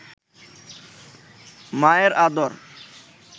মায়ের আদর